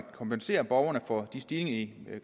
kompensere borgerne for de stigninger i